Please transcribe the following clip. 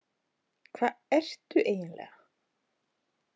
Hvað ertu eiginlega?